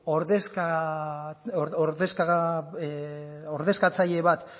ordezkatzaile bat